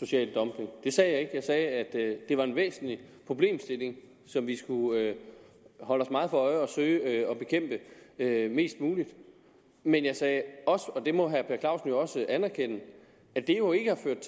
social dumping det sagde jeg jeg sagde at det var en væsentlig problemstilling som vi skulle holde os meget for øje og søge at mest muligt men jeg sagde også og det må herre per clausen anerkende at